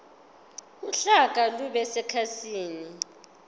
uhlaka lube sekhasini